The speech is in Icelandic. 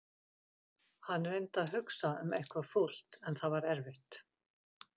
Hann reyndi að hugsa um eitthvað fúlt en það var erfitt.